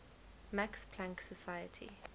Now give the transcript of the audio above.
max planck society